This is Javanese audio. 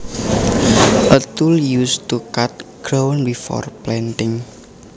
A tool used to cut ground before planting